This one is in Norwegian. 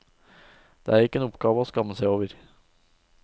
Det er ikke en oppgave å skamme seg over.